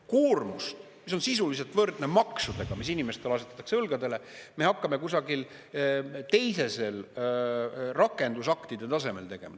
Koormust, mis on sisuliselt võrdne maksudega, mis inimestele asetatakse õlgadele, me hakkame kusagil teisel, rakendusaktide tasemel tegema.